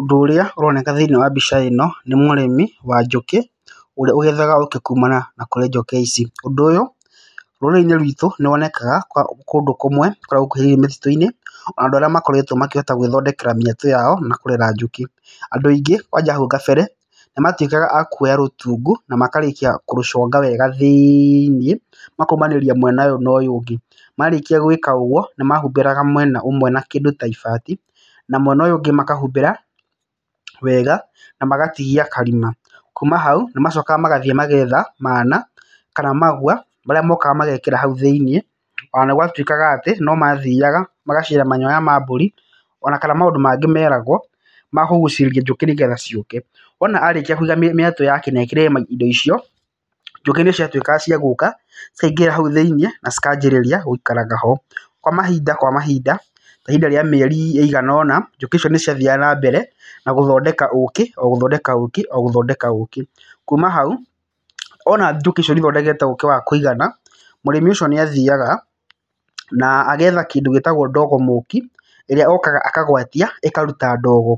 Ũndũ ũrĩa ũroneka thĩiniĩ wa mbica ĩno nĩ mũrĩmi wa njũkĩ ũrĩa ũgethaga ũkĩ kũmana na kũrĩ njũkĩ ici . ũndũ ũyũ rũrĩrĩ-inĩ rwĩtũ nĩwonekaga kũndũ kũmwe kũrĩa gũkuhirĩirie mĩtitũ-inĩ na andũ arĩa makoretwo makĩhota gũĩthondekera mĩatũ yao na kũrera njũkĩ. Andũ aingĩ kwanja hau ũguo kabere nĩmatũĩkaga a kũoya rũtungu na makarĩkia kũrũconga wega thĩiniĩ makaũmanĩria mwena ũyũ na ũyũ ũngi, marĩkĩa gũĩka ũgũo nĩmahumbĩraga mwena ũmwe na kĩndũ ta ibati na mwena ũyũ ũngĩ makahumbĩra wega na magatigia karima, kuma hau nĩmacokaga magathiĩ magetha mana kana magũa marĩa mokaga magekĩra haũ thĩiniĩ, ona nĩgwatũĩkaga atĩ no mathiaga magacina manyoya ma mbũri ona kana maũndũ mangĩ meragwo ma kũgucĩrĩria njũkĩ nĩgetha ciũke, wona arĩkia kũiga mĩatũ yake na ekĩre indo icio, njũkĩ nĩcĩatũĩkaga cia gũka cikaingĩra hau thĩiniĩ na cikambĩrĩria gũikaraga ho. Kwa mahinda kwa mahinda, kwa ihinda rĩa mĩeri ĩigana ona njũkĩ icio nĩciathiaga na mbere na gũthondeka ũkĩ o gũthondeka ũkĩ o gũthondeka ũkĩ, kuma hau wona njũkĩ icio nĩithondekete ũkĩ wa kũigana, mũrĩmi ũcio nĩathiaga na agetha kĩndũ gĩtagwo ndogo mũki ĩrĩa okaga akagwatia ĩkaruta ndogo,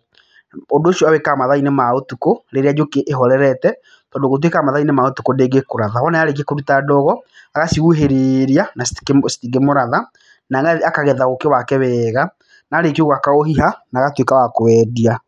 ũndũ ũcio awĩkaga matha-inĩ ma ũtukũ rĩrĩa njũkĩ ĩhorerete, tondũ gũtuĩkaga mathaa-inĩ ma ũtukũ ndĩngĩkũratha, wona yarĩkĩa kũruta ndogo agacihuhĩrĩria na citingĩkĩmũratha, na akagetha ũkĩ wake wega, na arĩkia ũguo akaũhiha na agatũĩka wa kũwendia.